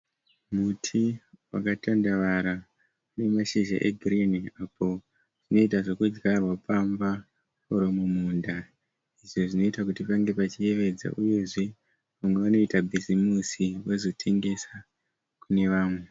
Muti wakatandavara une mashizha egirinhi apo unoita zvokudyarwa pamba kana mumunda izvo zvinoita kuti pange pachiyevedza uyezve vamwe vanoita bhizimusi vozotengesa kune vamwe.